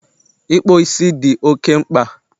Ikpo isi dị oke mkpa